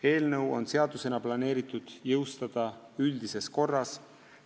Eelnõu on seadusena planeeritud jõustada üldises korras.